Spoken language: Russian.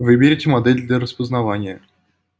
выберите модель для распознавания